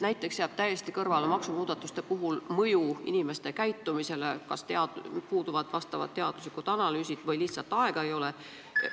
Näiteks jääb maksumuudatuste puhul täiesti kõrvale mõju inimeste käitumisele, kas puuduvad teaduslikud analüüsid või lihtsalt ei ole aega.